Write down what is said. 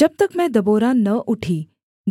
जब तक मैं दबोरा न उठी